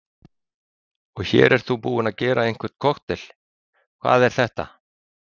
Höskuldur Kári: Og hér ert þú búinn að gera einhvern kokteil, hvað er þetta?